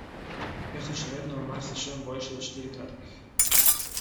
Ker so še vedno v marsičem boljši od štiritaktnih.